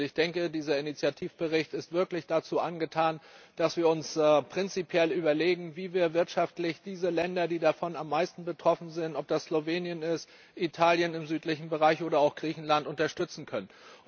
Und ich denke, dieser Initiativbericht ist wirklich dazu angetan, dass wir uns prinzipiell überlegen, wie wir wirtschaftlich die Länder, die davon am meisten betroffen sind ob das Slowenien, Italien im südlichen Bereich, oder auch Griechenland ist unterstützen können.